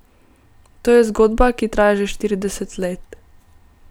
To je zgodba, ki traja že štirideset let.